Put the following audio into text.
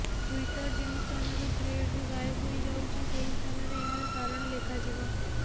Twitter ଯେଉଁ ସ୍ଥାନରୁ ଥ୍ରେଡରୁ ଗାଏବ ହୋଇଯାଉଛି ସେହିସ୍ଥାନରେ ଏହାର କାରଣ ଲେଖାଯିବ